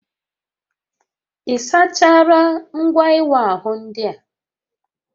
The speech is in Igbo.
Ị sachaala ngwa ịwa ahụ ndị a?